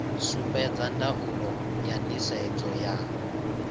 sumbedza ndaulo ya nisedzo ya